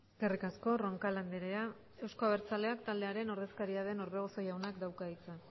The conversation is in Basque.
eskerrik asko roncal andrea euzko abertzaleak taldearen ordezkaria den orbegozo jaunak dauka hitza